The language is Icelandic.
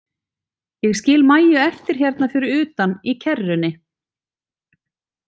Ég skil Maju eftir hérna fyrir utan í kerrunni.